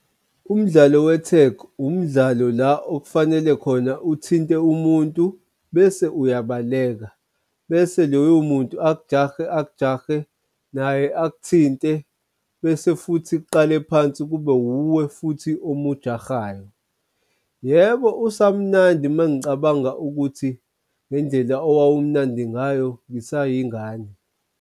Umdlalo we-tago umdlalo la okufanele khona uthinte umuntu bese uyabaleka bese loyo muntu akujahe akujahe naye akuthinte bese futhi uqale phansi kube wuwe futhi omujahayo. Yebo usamnandi mengicabanga ukuthi ngendlela owawumnandi ngayo ngisayingane.